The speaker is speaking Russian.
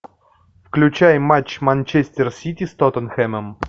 включай матч манчестер сити с тоттенхэмом